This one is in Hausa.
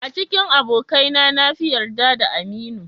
A cikin abokaina na fi yarda da Aminu.